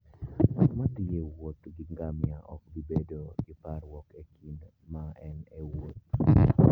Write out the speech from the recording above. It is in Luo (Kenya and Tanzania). Ng'at ma thi e wuoth gi ngamia ok bi bedo gi parruok e kinde ma en e wuoth